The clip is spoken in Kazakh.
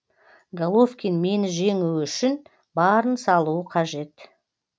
головкин мені жеңу үшін барын салуы қажет